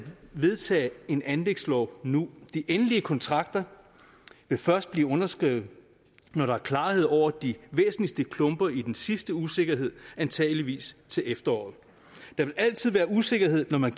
vedtage en anlægslov nu de endelige kontrakter vil først blive underskrevet når der er klarhed over de væsentligste klumper i den sidste usikkerhed antageligvis til efteråret der vil altid være usikkerhed når man